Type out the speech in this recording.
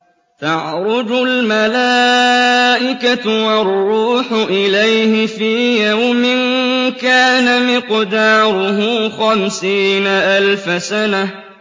تَعْرُجُ الْمَلَائِكَةُ وَالرُّوحُ إِلَيْهِ فِي يَوْمٍ كَانَ مِقْدَارُهُ خَمْسِينَ أَلْفَ سَنَةٍ